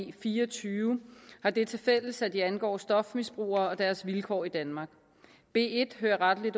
b fire og tyve har det tilfælles at de angår stofmisbrugere og deres vilkår i danmark b en hører rettelig